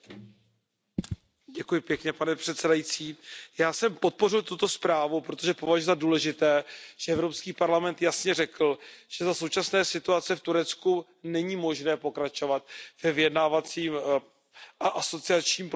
Pane předsedající, já jsem podpořil tuto zprávu, protože považuji za důležité, že Evropský parlament jasně řekl, že za současné situace v Turecku není možné pokračovat ve vyjednávacím a asociačním procesu Turecka k Evropské unii.